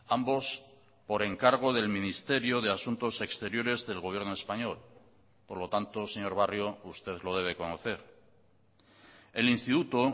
ambos por encargo del ministerio de asuntos exteriores del gobierno español por lo tanto señor barrio usted lo debe conocer el instituto